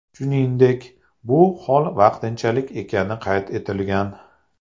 Shuningdek, bu hol vaqtinchalik ekani qayd etilgan.